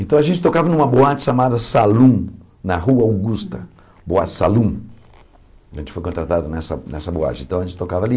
Então a gente tocava numa boate chamada Salum, na Rua Augusta, boate salum a gente foi contratado nessa boate, então a gente tocava ali,